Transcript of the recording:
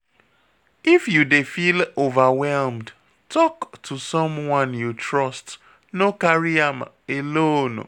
If you dey feel overwhelmed, tok to someone you trust, no carry am alone